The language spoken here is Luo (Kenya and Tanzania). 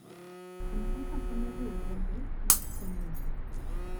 M-Pesa konyo riwruoge mag konyo ji.